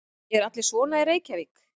Eru allir svona í Reykjavík?